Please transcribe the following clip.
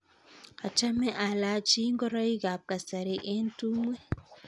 Achame alachi ngoroik ap kasari eng' tumwek